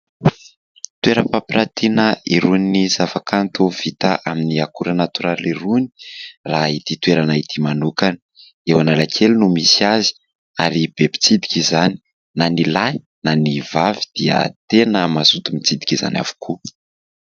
Toeram-pampiratiana irony zava-kanto vita amin'ny akora natoraly irony, raha ity toerana ity manokana. Eo Analakely no misy azy ary be mpitsidika izany. Na ny lahy na ny vavy dia tena mazoto mitsidika izany avokoa.